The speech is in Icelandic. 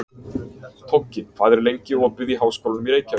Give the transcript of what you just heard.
Toggi, hvað er lengi opið í Háskólanum í Reykjavík?